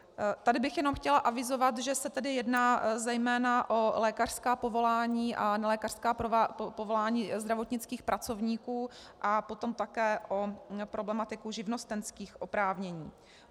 Tady bych jenom chtěla avizovat, že se tedy jedná zejména o lékařská povolání a nelékařská povolání zdravotnických pracovníků a potom také o problematiku živnostenských oprávnění.